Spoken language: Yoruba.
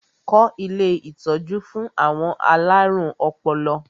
Kọ́ ilé ìtọ́jú fún àwọn alárùn ọpọlọ!